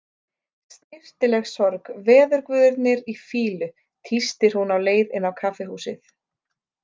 Snyrtileg sorg Veðurguðirnir í fýlu, tístir hún á leið inn á kaffihúsið.